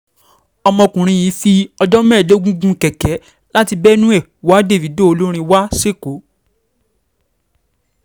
ọmọkùnrin yìí fi ọjọ́ mẹ́ẹ̀ẹ́dógún gun kẹ̀kẹ́ láti benue wa davido olórin wa sẹ́kọ̀ọ́